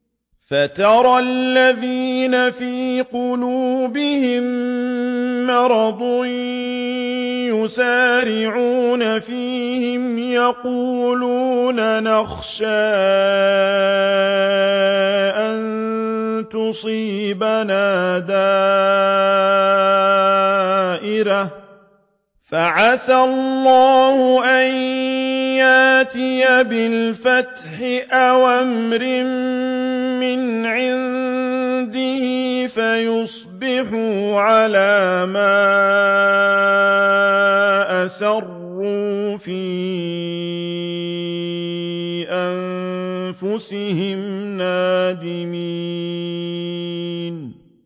فَتَرَى الَّذِينَ فِي قُلُوبِهِم مَّرَضٌ يُسَارِعُونَ فِيهِمْ يَقُولُونَ نَخْشَىٰ أَن تُصِيبَنَا دَائِرَةٌ ۚ فَعَسَى اللَّهُ أَن يَأْتِيَ بِالْفَتْحِ أَوْ أَمْرٍ مِّنْ عِندِهِ فَيُصْبِحُوا عَلَىٰ مَا أَسَرُّوا فِي أَنفُسِهِمْ نَادِمِينَ